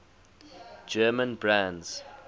german brands